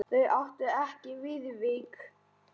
Þau áttu ekki Viðvík.